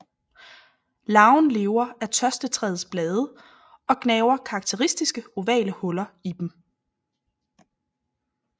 Larven lever af tørstetræets blade og gnaver karakteristiske ovale huller i dem